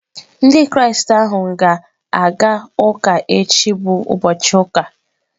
Ndị Kraịst ahụ ga-aga ụka echi bụ ụbọchị ụka.